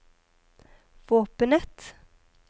våpenet